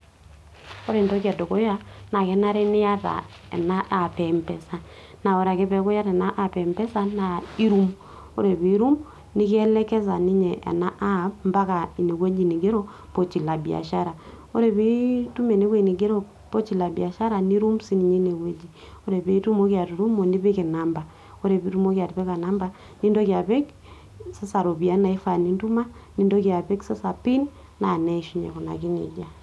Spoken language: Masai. ore entoki edukuya naa kenare niata ena app e mpesa. naa aore ake peeku iyata ena app mpesa naa irum, ore pee irum, nikielekeza ninye ena app, mpaka ine wueji nigero pochi la biashara, ore pee itum ene wueji nigero pochi la biashar nitum sii ninye ene wueji, ore pee itumoki atutumo, nipik inamba, ore pee itumoki atipika namba nintoki apik, sasa iropiyiani nintuma, nintoki apik pin naa neishunye ina saa.